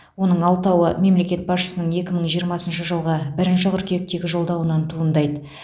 оның алтауы мемлекет басшысының екі мың жиырмасыншы жылғы бірінші қыркүйектегі жолдауынан туындайды